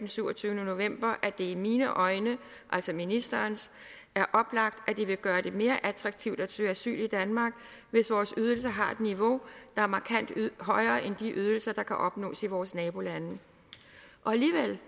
syvogtyvende november nemlig at det i mine øjne altså ministerens er oplagt at det vil gøre det mere attraktivt at søge asyl i danmark hvis vores ydelser har et niveau der er markant højere end de ydelser der kan opnås i vores nabolande alligevel